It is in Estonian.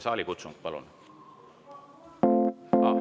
Saalikutsung, palun!